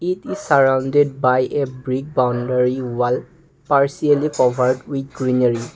keep the surrounded by a brick boundary will partially forward with greenary.